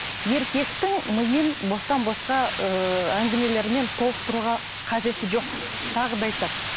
еркектің миын бостан босқа ыыы әңгімелермен толықтыруға қажет жоқ тағы да айтамын